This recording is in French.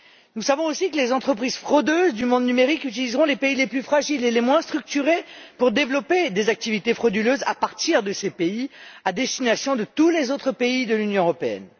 Nous savons aussi que les entreprises fraudeuses du monde numérique utiliseront les pays les plus fragiles et les moins structurés pour développer des activités frauduleuses à partir de ces pays et à destination de tous les autres pays de l'Union européenne.